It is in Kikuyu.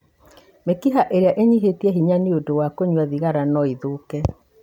Mĩkiha ĩrĩa ĩnyihĩte hinya nĩ ũndũ wa kũnyua thigara no ĩthoke.